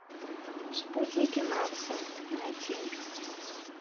спутники марса найти